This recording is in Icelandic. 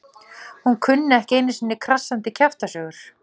Hún kunni ekki einu sinni krassandi kjaftasögur.